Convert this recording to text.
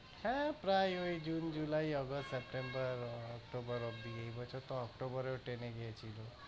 হ্যাঁ প্রায়ই ওই জুন, জুলাই, অগাস্ট, সেপ্টেম্বর, অক্টোবর অব্দি। এই বছর তো অক্টোবরেও টেনে গিয়েছিল।